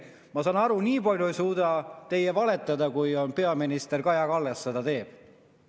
Ma saan aru, nii palju ei suuda teie valetada, kui peaminister Kaja Kallas seda teeb.